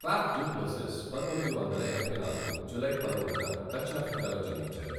Puff du Plessis పంతొమ్మిది వందల ఎనభై నాలుగు జూలై పదమూడున దక్షిణాఫ్రికాలో జన్మించారు.